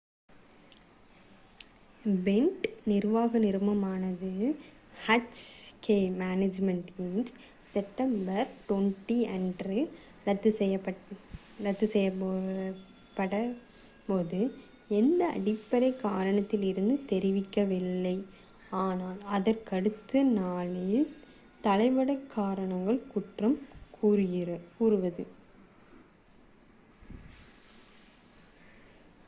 pant நிர்வாக நிறுவனமான hk management inc September 20 அன்று ரத்து செய்யப்பட்டபோது எந்த அடிப்படை காரணத்தையும் தெரிவிக்கவில்லை ஆனால் அதற்கடுத்த நாளில் தளவாட காரணங்களை குற்றம் கூறியது